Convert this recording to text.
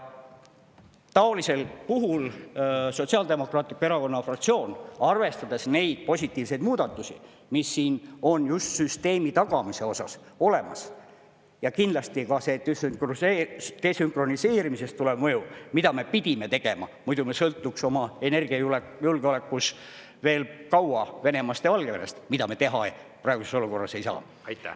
Taolisel puhul Sotsiaaldemokraatliku Erakonna fraktsioon, arvestades neid positiivseid muudatusi, mis siin on just süsteemi tagamise osas olemas ja kindlasti ka see desünkroniseerimisest tulev mõju, mida me pidime tegema, muidu me sõltuksime oma energiajulgeolekus veel kaua Venemaast ja Valgevenest, mida me teha praeguses olukorras ei saa.